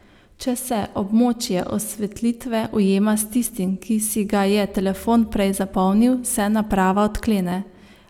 Če se območje osvetlitve ujema s tistim, ki si ga je telefon prej zapomnil, se naprava odklene.